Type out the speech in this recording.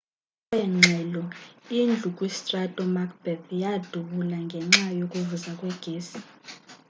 ngokweengxelo indlu kwistrato macbeth yadubula ngenxa yokuvuza kwegesi